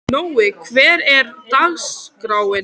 Nói, hvernig er dagskráin?